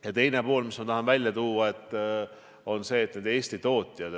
Ja teine kogemus, mille ma tahan välja tuua, on see, et meil on olemas Eesti tootjad.